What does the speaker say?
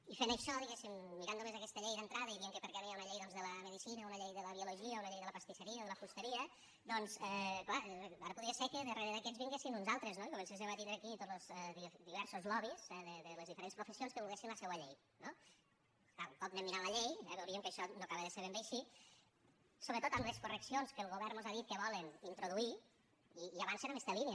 i fent això diguéssim mirant només aquesta llei d’entrada i dient que per què no hi ha una llei doncs de la medicina una llei de la biologia una llei de la pastisseria o de la fusteria doncs clar ara podria ser que darrere d’aquests vinguessin uns altres no i comencéssim a tindre aquí tots los diversos lobbys de les diferents professions que volguessin la seua llei no clar un cop anem mirat la llei veuríem que això no acaba de ser ben bé així sobretot amb les correccions que el govern mos ha dit que volen introduir i avancen en aquesta línia